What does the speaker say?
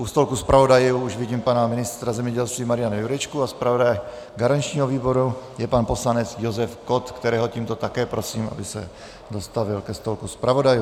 U stolku zpravodajů už vidím pana ministra zemědělství Mariana Jurečku a zpravodajem garančního výboru je pan poslanec Josef Kott, kterého tímto také prosím, aby se dostavil ke stolku zpravodajů.